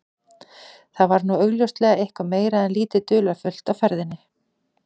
Þar var nú augljóslega eitthvað meira en lítið dularfullt á ferðinni.